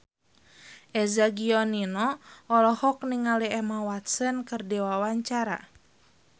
Eza Gionino olohok ningali Emma Watson keur diwawancara